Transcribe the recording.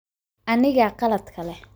Anigaa qaladka leh.